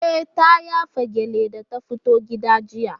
E, ta yafa gyalle da ta fito gidan jiya.